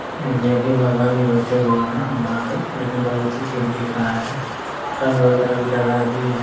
ये भी भगवान जी बैठे हुए है यहाँ पे लेकिन बहुत ही ठीक दिख रहा है रंग वगैरह भी लगा दिए है ।